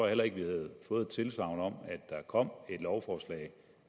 heller ikke fået et tilsagn om at der kommer et lovforslag